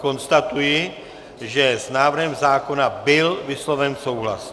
Konstatuji, že s návrhem zákona byl vysloven souhlas.